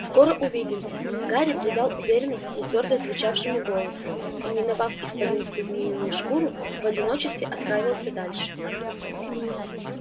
скоро увидимся гарри придал уверенность нетвёрдо звучащему голосу и миновав исполинскую змеиную шкуру в одиночестве отправился дальше